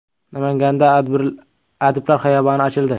Namanganda “Adiblar xiyoboni” ochildi.